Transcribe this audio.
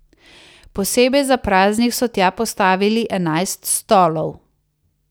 Posebej za praznik so tja postavili enajst stolov.